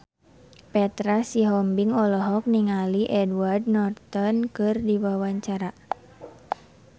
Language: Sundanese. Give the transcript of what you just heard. Petra Sihombing olohok ningali Edward Norton keur diwawancara